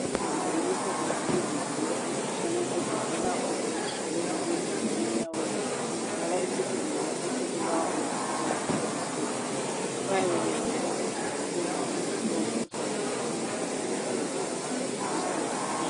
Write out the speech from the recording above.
Bagqoke impahla zokuzivikela emikhuhlaneni ezivala ubuso kuze kuyefika enyaweni, evala isigulane esibulawa ngumkhuhlane othile. Bayabe beyenzela ukuthi labo bengawutholi lowomkhuhlane loba isigulane siyabe sesihambile emhlabeni.